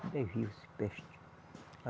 Ainda é vivo esse peste.